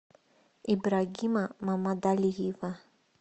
ибрагима мамадалиева